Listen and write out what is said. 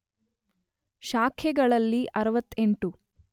ಶಾಖೆಗಳಲ್ಲಿ 68